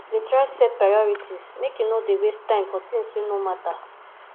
dey try set priorities make you no dey waste time for tins wey no mata